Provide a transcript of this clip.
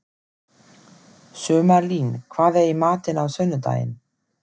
Sumarlín, hvað er í matinn á sunnudaginn?